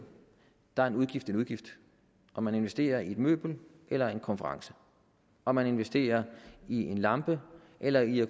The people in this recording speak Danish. er en udgift en udgift om man investerer i et møbel eller i en konference om man investerer i en lampe eller i at